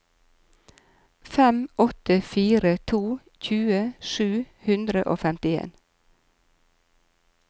fem åtte fire to tjue sju hundre og femtien